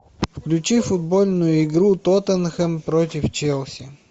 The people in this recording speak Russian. включи футбольную игру тоттенхэм против челси